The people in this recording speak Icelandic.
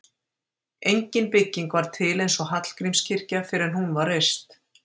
Engin bygging var til eins og Hallgrímskirkja fyrr en hún var reist.